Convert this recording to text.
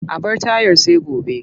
A bar tayar sai gobe.